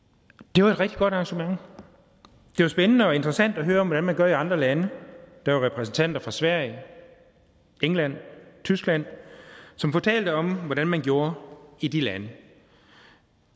det var et rigtig godt arrangement det var spændende og interessant at høre om hvordan man gør i andre lande der var repræsentanter fra sverige england og tyskland som fortalte om hvordan man gjorde i de lande